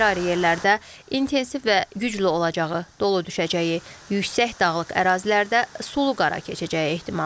Ayrı-ayrı yerlərdə intensiv və güclü olacağı, dolu düşəcəyi, yüksək dağlıq ərazilərdə sulu qara keçəcəyi ehtimalı var.